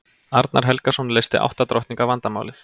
arnar helgason leysti átta drottninga vandamálið